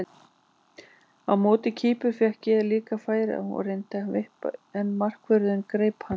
Á móti Kýpur fékk ég líka færi og reyndi að vippa en markvörðurinn greip hann.